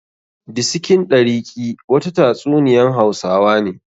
Disikin ɗariki' wata ta tsuniyan hausawa ne.